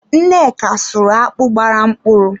Nneka sụrụ akpụ gbara mkpụrụ.